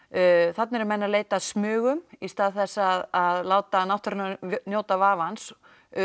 þarna eru menn að leita að smugum í stað þess að láta náttúruna njóta vafans